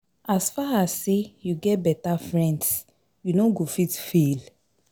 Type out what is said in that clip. As far as sey you get beta friends, you no go fit fail